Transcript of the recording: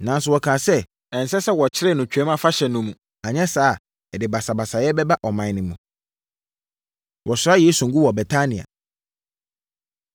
Nanso, wɔkaa sɛ, “Ɛnsɛ sɛ wɔkyere no Twam Afahyɛ no mu, anyɛ saa a, ɛde basabasayɛ bɛba ɔman no mu.” Wɔsra Yesu Ngo Wɔ Betania